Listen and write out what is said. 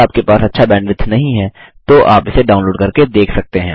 यदि आपके पास अच्छा बैंडविड्थ नहीं है तो आप इसे डाउनलोड करके देख सकते हैं